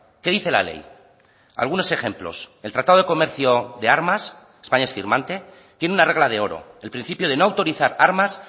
qué dice la ley algunos ejemplos el tratado de comercio de armas españa es firmante tiene una regla de oro el principio de no autorizar armas